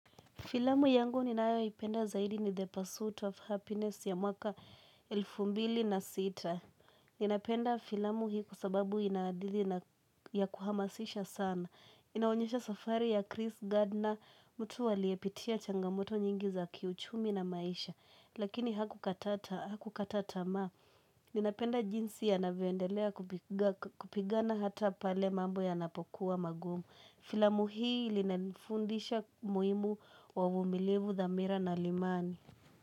Filamu yangu ninayoipenda zaidi ni The Pursuit of Happiness ya mwaka elfu mbili na sita. Ninapenda filamu hii kwa sababu ina hadithi ya kuhamasisha sana. Inaonyesha safari ya Chris Gardner, mtu aliepitia changamoto nyingi za kiuchumi na maisha. Lakini hakukata tamaa. Ninapenda jinsi anavyoendelea kupigana hata pale mambo yanapokuwa magumu. Filamu hii ilinafundisha umuhimu wa uvumilivu dhamira na limani.